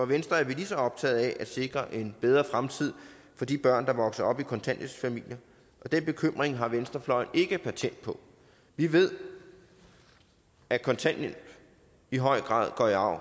venstre er vi lige så optaget af at sikre en bedre fremtid for de børn der vokser op i kontanthjælpsfamilier og den bekymring har venstrefløjen ikke patent på vi ved at kontanthjælp i høj grad går i arv